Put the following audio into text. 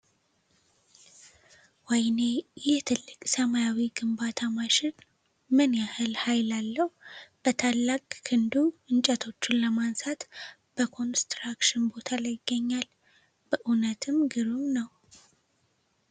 ወይኔ! ይህ ትልቅ ሰማያዊ ግንባታ ማሽን ምን ያህል ኃይል አለው! በታላቅ ክንዱ እንጨቶችን ለማንሳት በኮንስትራክሽን ቦታ ላይ ይገኛል! *በእውነት ግሩም ነው!*